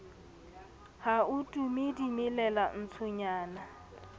ha ho tume dimelala ntshonyana